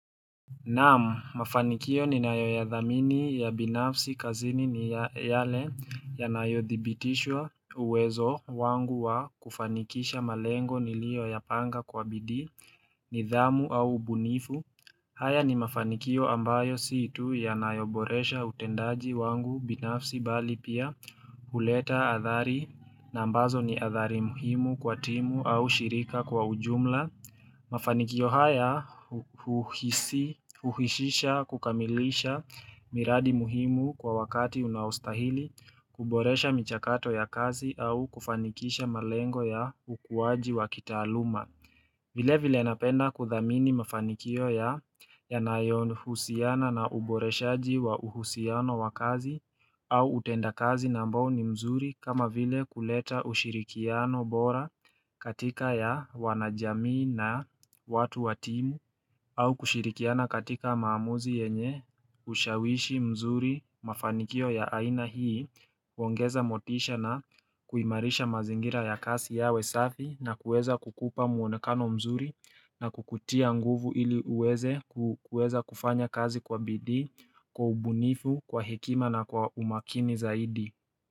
Naam, mafanikio ninayoyathamini ya binafsi kazini ni yale yanayodhibitisha uwezo wangu wa kufanikisha malengo niliyoyapanga kwa bidii nidhamu au ubunifu. Haya ni mafanikio ambayo si tu yanayoboresha utendaji wangu binafsi mbali pia huleta athari na ambazo ni athari muhimu kwa timu au shirika kwa ujumla. Mafanikio haya huhusisha kukamilisha miradi muhimu kwa wakati unaostahili kuboresha michakato ya kazi au kufanikisha malengo ya ukuaji wa kitaaluma. Vilevile napenda kuthamini mafanikio yanayohusiana na uboreshaji wa uhusiano wa kazi au utenda kazi na ambao ni mzuri kama vile kuleta ushirikiano bora katika wanajamii na watu wa timu au kushirikiana katika maamuzi yenye ushawishi mzuri mafanikio ya aina hii huongeza motisha na kuimarisha mazingira ya kazi yawe safi na kueza kukupa muonekano mzuri na kukutia nguvu ili uweze kueza kufanya kazi kwa bidii, kwa ubunifu, kwa hekima na kwa umakini zaidi.